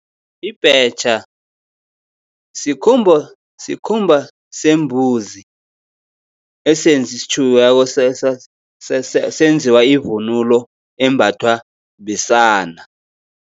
Ibhetjha sikhumba sembuzi, esitjhukiweko senziwa ivunulo embathwa besana.